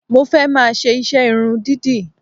Mo fẹ́ máa ṣe iṣẹ́ irun dídì